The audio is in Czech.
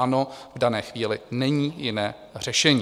Ano, v dané chvíli není jiné řešení.